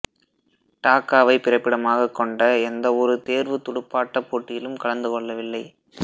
டாக்காவைப் பிறப்பிடமாகக் கொண்ட எந்தவொரு தேர்வுத் துடுப்பாட்டப் போட்டியிலும் கலந்து கொள்ளவில்லை